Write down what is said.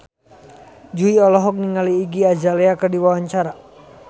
Jui olohok ningali Iggy Azalea keur diwawancara